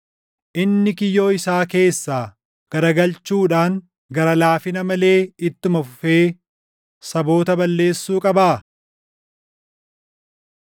Inni kiyyoo isaa keessaa garagalchuudhaan, gara laafina malee ittuma fufee saboota balleessuu qabaa?